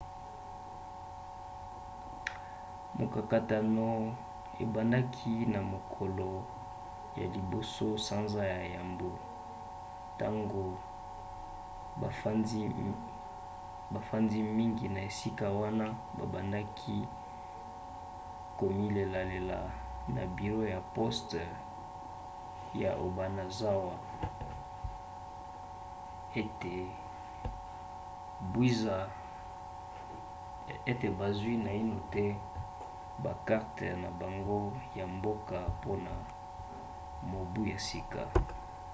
mokakatano ebandaki na mokolo ya 1 sanza ya yambo ntango bafandi mingi ya esika wana babandaki komilelalela na biro ya poste ya obanazawa ete bazwi naino te bakarte na bango ya mboka mpona mobu ya sika